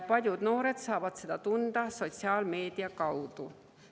Paljud noored saavad seda sotsiaalmeedia kaudu.